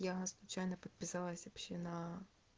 я случайно подписалась вообще на